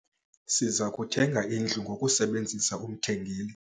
Siza kuthenga indlu ngokusebenzisa umthengeli.